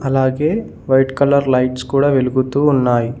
అలాగే white colour lights కూడా వెలుగుతూ ఉన్నాయి.